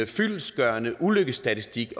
fyldestgørende ulykkesstatistik